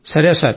సరే సార్